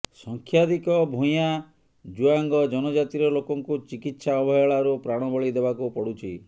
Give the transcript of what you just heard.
ସଂଖ୍ୟାଧିକ ଭୂୟାଁ ଜୁଆଙ୍ଗ ଜନଜାତିର ଲୋକଙ୍କୁ ଚିକିତ୍ସା ଅବହେଳାରୁ ପ୍ରାଣବଳି ଦେବାକୁ ପଡୁଛି